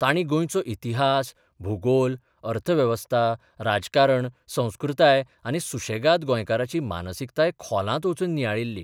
तांणी गोंयचो इतिहास, भुगोल, अर्थवेवस्था, राजकारण, संस्कृताय आनी सुशेगाद गोंयकाराची मानसिकताय खोलांत वचून नियाळिल्ली.